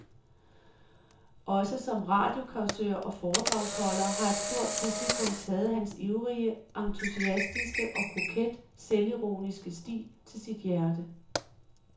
Også som radiocausør og foredragsholder har et stort publikum taget hans ivrige, entusiastiske og koket selvironiske stil til sit hjerte.